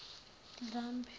ndlambe